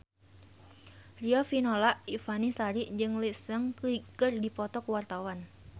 Riafinola Ifani Sari jeung Lee Seung Gi keur dipoto ku wartawan